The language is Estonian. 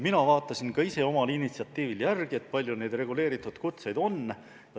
Mina vaatasin omal initsiatiivil järele, kui palju neid reguleeritud kutseid on.